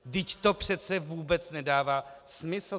Vždyť to přece vůbec nedává smysl.